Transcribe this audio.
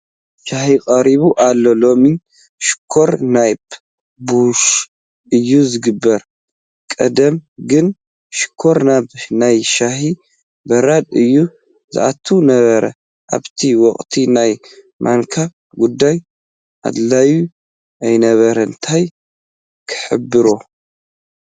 ሻሂ ቀሪቡ ኣሎ፡፡ ሎሚ ሽኾር ናብ ቡሽ እዩ ዝግበር ቀደም ግን ሽኮር ናብ ናይ ሻሂ በራድ እዩ ዝኣቱ ነይሩ፡፡ ኣብቲ ወቕቲ ናይ ማንካ ጉዳያ ኣድላዪ ኣይነበረን፡፡ ታይ ክሕበሮ፡፡